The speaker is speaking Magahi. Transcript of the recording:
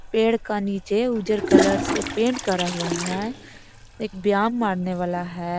पेड़ का निचे उजर कलर से पेंट करा हुआ है। एक व्यायाम मारने वाला है।